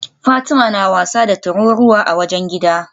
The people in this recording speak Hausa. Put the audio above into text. Fatima na wasa da tururuwa a wajen gidan